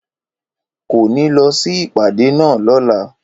Kò ní lọ sí ìpàdé náà lọ́la